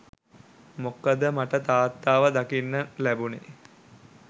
මොකද මට තාත්තව දකින්න ලැබුණේ